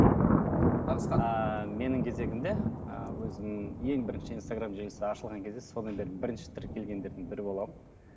нағызхан ааа менің кезегімде ыыы өзім ең бірінші инстаграмм желісі ашылған кезде содан бері бірінші тіркелгендердің бірі боламын